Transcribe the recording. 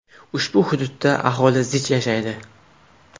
Ushbu hududda aholi zich yashaydi.